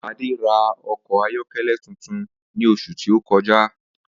Adé ra o̩kò̩ ayó̩ké̩lé̩ tuntun ní os̩ù tí ó ko̩já